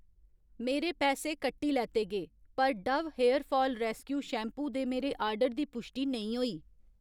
मेरे पैसे कट्टी लैते गे, पर Dove hair fall rescue shampoo दे मेरे आर्डर दी पुश्टि नेईं होई